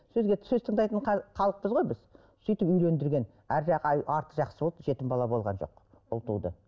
сөзге сөз тыңдайтын халықпыз ғой біз сөйтіп үйлендірген арғы жағы арты жақсы болды жетім бала болған жоқ ұл туды